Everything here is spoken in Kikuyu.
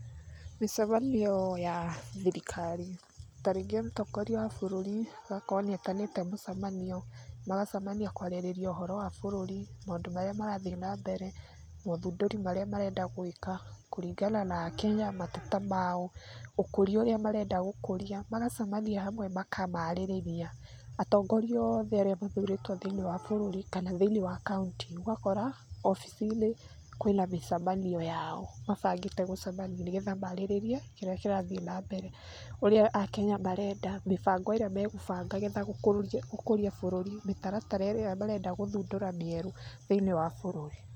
Mĩcemanio ya thirikari. Ta rĩngĩ mũtongoria wa bũrũrĩ agakorwo nĩetanĩte mũcemanio, magacemania kũarĩrĩria wa bũrũri, maundu marĩa marathi na mbere, maũthundũri marĩa marenda gwĩka kuringana na akenya, mateta mao, ũkũria ũrĩa marenda gũkũria. Magacemania hamwe makamaarĩrĩria. Atongoria othe arĩa mathurĩtwo thĩinĩ wa bũrũri, kana thĩinĩ wa kaũnti, ũgakora obici-inĩ kwĩna mĩcemanio yao, mabangĩte gũcemania nĩgetha maarĩrĩrie kĩrĩa kĩrathiĩ na mbere, ũrĩa akenya marenda, mĩbango ĩrĩa megũbanga getha gũkũrie bũrũri, mĩtaratara ĩrĩa marenda gũthundũra mĩerũ thĩiniĩ wa bũrũri.